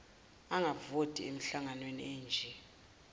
angavoti emihlanganweni enje